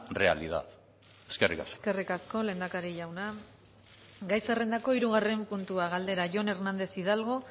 realidad eskerrik asko eskerrik asko lehendakari jauna gai zerrendako hirugarren puntua galdera jon hernández hidalgo